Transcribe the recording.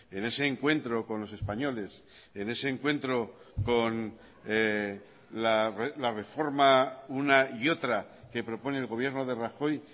en ese encuentro con los españoles en ese encuentro con la reforma una y otra que propone el gobierno de rajoy